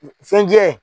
Fɛn jɛ